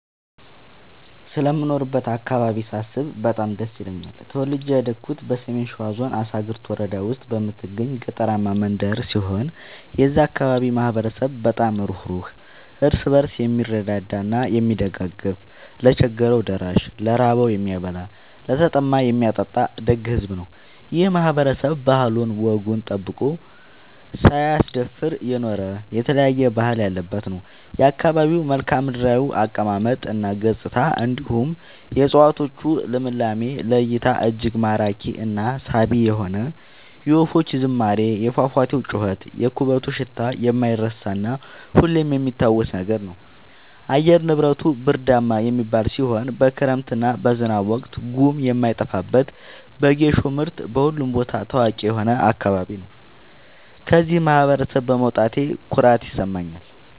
ስለምኖርበት አካባቢ ሳስብ በጣም ደስ ይለኛል። ተወልጄ ያደኩት በሰሜን ሸዋ ዞን አሳግርት ወረዳ ውስጥ በምትገኝ ገጠራማ መንደር ሲሆን የዛ አካባቢ ማህበረሰብ በጣም ሩህሩህ ÷ እርስ በርሱ የምረዳዳ እና የሚደጋገፍ ለቸገረው ደራሽ ÷ ለራበው የሚያበላ ÷ለተጠማ የሚያጠጣ ደግ ሕዝብ ነው። ይህ ማህበረሰብ ባህሉን እና ወጉን ጠብቆ ሳያስደፍር የኖረ የተለያየ ባህል ያለበት ነው። የአካባቢው መልከዓምድራው አቀማመጥ እና ገጽታ እንዲሁም የ እፀዋቶቹ ልምላሜ ለ እይታ እጅግ ማራኪ እና ሳቢ የሆነ የወፎቹ ዝማሬ የፏፏቴው ጩኸት የኩበቱ ሽታ የማይረሳ እና ሁሌም የሚታወስ ነገር ነው። አየር ንብረቱ ብርዳማ የሚባል ሲሆን በክረምት እና በዝናብ ወቅት ጉም የማይጠፋበት በጌሾ ምርት በሁሉም ቦታ ታዋቂ የሆነ አካባቢ ነው። ከዚህ ማህበረሰብ በመውጣቴ ኩራት ይሰማኛል።